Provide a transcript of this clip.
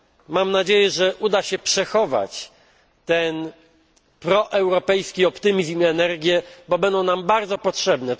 Mam nadzieję, że uda się zachować ten proeuropejski optymizm i energię, bo będą nam bardzo potrzebne.